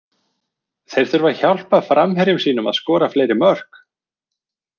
Þeir þurfa að hjálpa framherjum sínum að skora fleiri mörk.